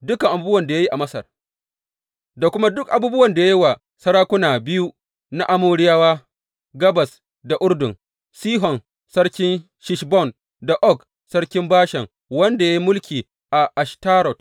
Dukan abubuwan da ya yi a Masar da kuma duk abubuwan da ya yi wa sarakuna biyu na Amoriyawa gabas da Urdun, Sihon sarkin Heshbon, da Og sarkin Bashan wanda ya yi mulki a Ashtarot.